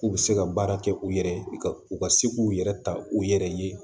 K'u bɛ se ka baara kɛ u yɛrɛ ye ka u ka se k'u yɛrɛ ta u yɛrɛ ye